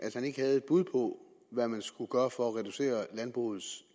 at han ikke havde et bud på hvad man skulle gøre for at reducere landbrugets